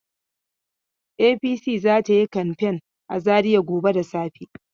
APC za ta yi kamfen za Zariya gobe da safe.